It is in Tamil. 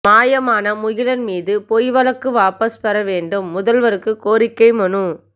மாயமான முகிலன் மீது பொய் வழக்கு வாபஸ் பெற வேண்டும் முதல்வருக்கு கோரிக்கை மனு